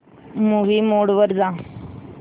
movie mode वर जा